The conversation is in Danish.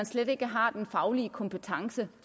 slet ikke har den faglige kompetence